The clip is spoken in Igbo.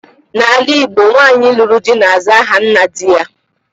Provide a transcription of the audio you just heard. N'ala Igbo, nwaanyị lụrụ di, na-aza ahanna di ya.